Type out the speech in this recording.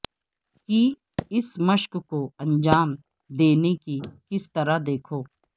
کی اس مشق کو انجام دینے کی کس طرح دیکھو